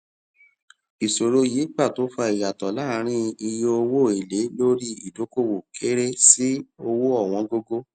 ìṣòro yìí pàtó fa ìyàtọ láàrin iye owó èlé lórí ìdókòwò kéré sí owó ọwọn gógó